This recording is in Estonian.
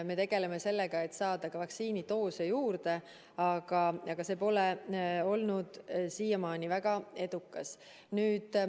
Me tegeleme sellega, et saada ka vaktsiinidoose juurde, aga see pole olnud siiamaani väga edukas.